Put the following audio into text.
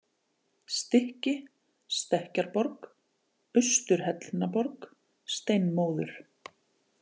Stykki, Stekkjarborg, Austur-Hellnaborg, Steinmóður